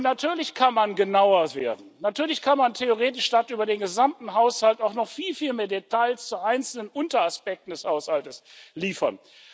Natürlich kann man genauer werden, natürlich kann man theoretisch statt über den gesamten Haushalt auch noch viel, viel mehr Details zu einzelnen Unteraspekten des Haushaltes liefern.